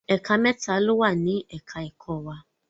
Ẹ̀ka mẹ́ta ló wà ní ẹ̀ka ẹ̀kọ́ wa.